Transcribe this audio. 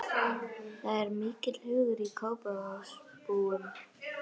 Það er mikill hugur í Kópavogsbúum.